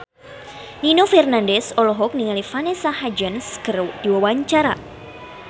Nino Fernandez olohok ningali Vanessa Hudgens keur diwawancara